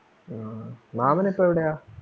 ആ മാമൻ ഇപ്പം എവിടെയാ?